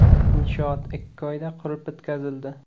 Inshoot ikki oyda qurib bitkazildi.